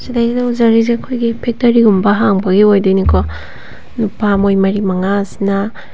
ꯁꯤꯗꯩꯁꯤꯗ ꯎꯖꯔꯤꯁꯦ ꯑꯩꯈꯣꯏꯒꯤ ꯐꯦꯛꯇꯔꯤ ꯒꯨꯝꯕ ꯍꯥꯡꯕꯒꯤ ꯑꯣꯏꯗꯣꯏꯅꯦꯀꯣ ꯅꯨꯄꯥ ꯃꯣꯏ ꯃꯔꯤ ꯃꯉꯥ ꯁꯤꯅ --